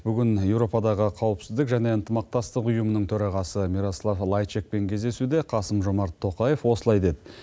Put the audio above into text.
бүгін еуропадағы қауіпсіздік және ынтымақтастық ұйымының төрағасы мирослав лайчакпен кездесуде қасым жомарт тоқаев осылай деді